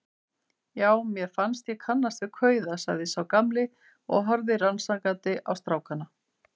Já, mér fannst ég kannast við kauða sagði sá gamli og horfði rannsakandi á strákana.